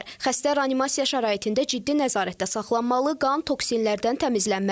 Xəstə reanimasiya şəraitində ciddi nəzarətdə saxlanılmalı, qan toksinlərdən təmizlənməlidir.